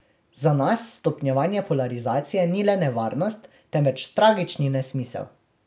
Za nas stopnjevanje polarizacije ni le nevarnost, temveč tragični nesmisel.